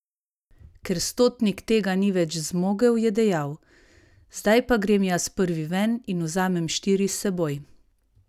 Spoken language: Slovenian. Ker stotnik tega ni več zmogel, je dejal: 'Zdaj pa grem jaz prvi ven in vzamem štiri s seboj'.